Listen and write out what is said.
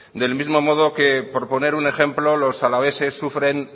del mismo modo que por poner un ejemplo los alaveses sufren